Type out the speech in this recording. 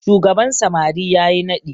shugaban samari ya yi naɗi